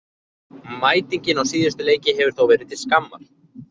Mætingin á síðustu leiki hefur þó verið til skammar.